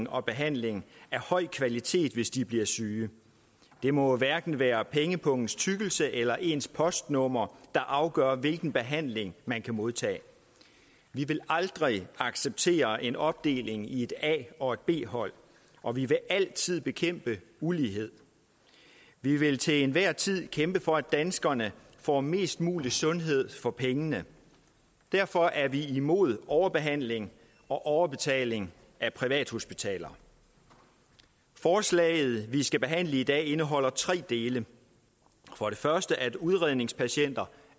og behandling af høj kvalitet hvis de bliver syge det må hverken være pengepungens tykkelse eller ens postnummer der afgør hvilken behandling man kan modtage vi vil aldrig acceptere en opdeling i et a og et b hold og vi vil altid bekæmpe ulighed vi vil til enhver tid kæmpe for at danskerne får mest mulig sundhed for pengene derfor er vi imod overbehandling og overbetaling af privathospitaler forslaget vi skal behandle i dag indeholder tre dele for det første at udredningspatienter